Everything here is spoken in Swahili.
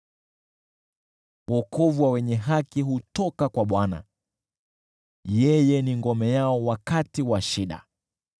Wokovu wa wenye haki hutoka kwa Bwana , yeye ni ngome yao wakati wa shida.